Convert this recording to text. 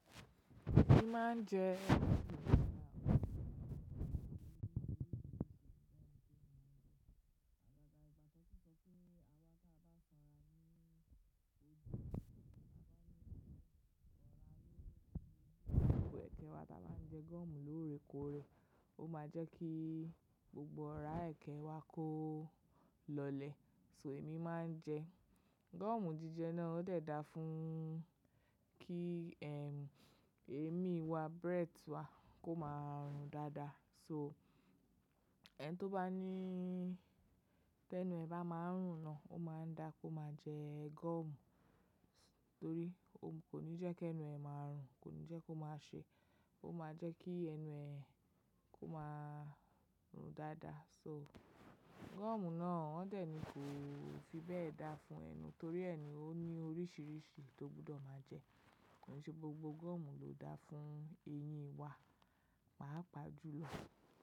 Èmi máa ń jẹ ẹ̀kẹ́ wá tí a bá ń jẹ gọ́ọ̀mù lóorekoore, ó máa jẹ́ kí gbogbo ọ̀rá ẹ̀kẹ́ wá kó lọlẹ̀. So èmi máa ń jẹ gọ́ọ̀mù jíjẹ náà, ó dẹ̀ da fún kí émí wa, breath wá kó máa rùn dáadáa. So ẹni tó bá ní, ti ẹnu è bá máa ń rùn gan, ó máa da kó máa jẹ gọ́ọ̀mù torí ó kò ní jẹ́ kí ẹnu ẹ máa rùn, kò ní jẹ́ kó má ṣe, ó máa jẹ́ kí ẹnu ẹ kó máa rùn dáadáa. So gọ́ọ̀mù náà wọ́n dẹ̀ ní kò fi bẹ́ẹ̀ da fún ẹnu torí ẹnu ó ní oríṣiríṣi tó gbọ́dọ̀ máa jẹ. Kò ní ṣe gbogbo gọ́ọ̀mù ló da fún eyín wa, pàápàá jùlọ.